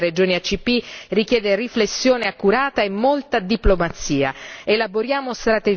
L'eterogeneità dei paesi e delle regioni ACP richiede riflessione accurata e molta diplomazia.